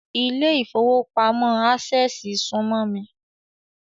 Ilé ìfowópamọ́ Ásẹ̀sì súmọ́ mi